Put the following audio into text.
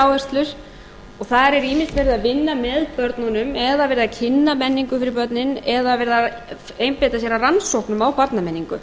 ólíkar áherslur og þar er ýmist verið að vinna með börnunum eða verið að kynna menningu fyrir börnin eða verið að einbeita sér að rannsóknum á barnamenningu